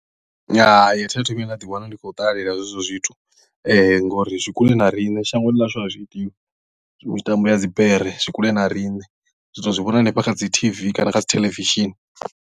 Hai athi athu vhuya nda ḓiwana ndi khou ṱalela hezwo zwithu ngori zwi kule na riṋe shangoni ḽa hashu a zwi itiwi mitambo ya dzibere zwi kule na riṋe ri to zwi vhona hanefha kha dzi T_V kana kha dzi theḽevishini.